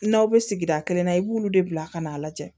N'aw bɛ sigida kelen na i b'olu de bila ka n'a lajɛ